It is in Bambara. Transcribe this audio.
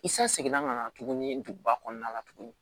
I san seginna ka na tuguni duguba kɔnɔna la tuguni